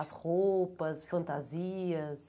As roupas, fantasias?